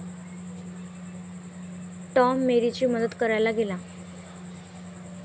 Tom मेरीची मदत करायला गेला.